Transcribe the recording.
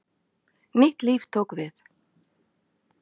Nýtt líf tók við.